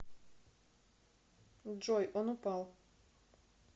джой он упал